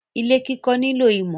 Ilé kiko nilo imo